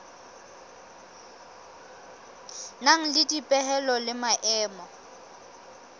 nang le dipehelo le maemo